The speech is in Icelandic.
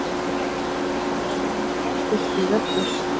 Týri! kallaði hún óstyrkri röddu.